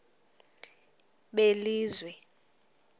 belizwe